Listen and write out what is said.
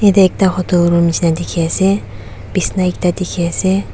eteh ekta hotel room nehsina dekhe ase besna ekta dekhe ase.